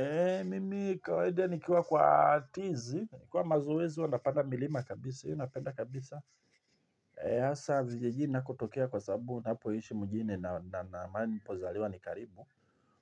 Eee, mimi, kawaida nikiwa kwa tizi, kwa mazoezi huwa napanda milima kabisa, hiyo napenda kabisa. Eee, hasa vijijini nakotokea kwa sababu, ninapoishi mjini na mahali nilipozaliwa ni karibu